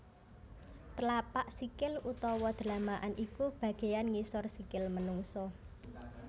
Tlapak sikil utawa dlamakan iku bagéan ngisor sikil manungsa